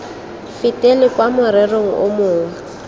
fetele kwa morerong o mongwe